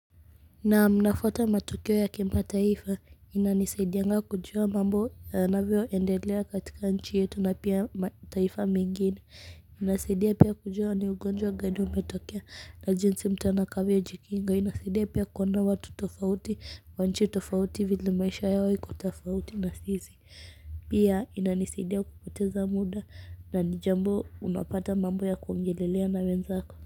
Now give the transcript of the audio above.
Naam nafuata matukio ya kimataifa taifa inanisaidianga kujua mambo yanavyo endelea katika nchi yetu na pia taifa mengine inasaidia pia kujua ni ugonjwa gani umetokea na jinsi mtu atakavyo jikinga inasaidia pia kuondoa watu tofauti wa nchi tofauti vile maisha yao iko tofauti na sisi pia ina nisaidia kupoteza muda na ni jambo unapata mambo ya kuongelelea na wenzako.